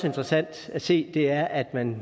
interessant at se er at man